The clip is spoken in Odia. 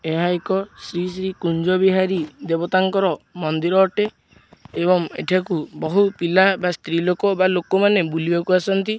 ଏହା ଏକ ଶ୍ରୀ-ଶ୍ରୀ କୁଞ୍ଜ ବିହାରୀ ଦେବତାଙ୍କର ମନ୍ଦିର ଅଟେ ଏବଂ ଏଠାକୁ ବହୁ ପିଲା ବା ସ୍ତ୍ରୀ ଲୋକ ବା ଲୋକମାନେ ବୁଲିବାକୁ ଆସନ୍ତି।